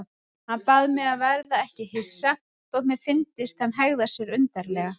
Hann bað mig að verða ekki hissa þótt mér fyndist hann hegða sér undarlega.